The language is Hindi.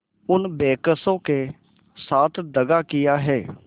उन बेकसों के साथ दगा दिया है